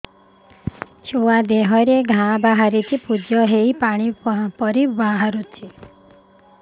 ଛୁଆ ଦେହରେ ଘା ବାହାରିଛି ପୁଜ ହେଇ ପାଣି ପରି ବାହାରୁଚି